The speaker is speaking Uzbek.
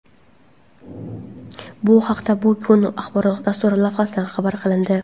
Bu haqda "Bu kun" axborot dasturi lavhasida xabar qilindi.